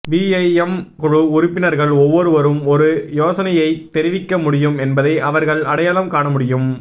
BIM குழு உறுப்பினர்கள் ஒவ்வொருவரும் ஒரு யோசனையைத் தெரிவிக்க முடியும் என்பதை அவர்கள் அடையாளம் காண முடியும்